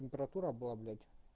температура была блять